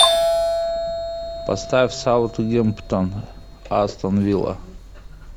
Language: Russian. поставь саутгемптон астон вилла